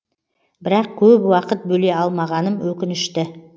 бірақ көп уақыт бөле алмағаным өкінішті